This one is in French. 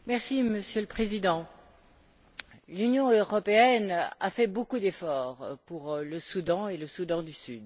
Monsieur le Président, l'Union européenne a fait beaucoup d'efforts pour le Soudan et le Soudan du Sud.